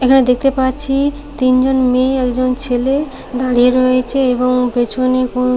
এখানে দেখতে পাচ্ছি তিনজন মেয়ে একজন ছেলে দাঁড়িয়ে রয়েছে এবং পেছনে কোন--